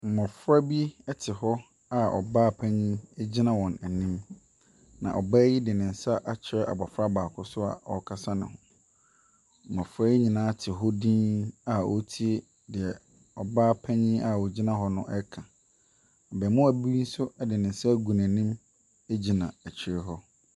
Mmɔfra bi te hɔ a ɔbaapanin gyina wɔn anim, na ɔbaa yi de ne nsa akyerɛ abɔfra baako so a ɔrekasa ne ho. Mmɔfra yi nyinaa te hɔ dinn a wɔretie deɛ ɔbaapanin a ɔgyina hɔ no reka. Abaamua bi nso de nsa agu n'ani gyina akyire hɔ.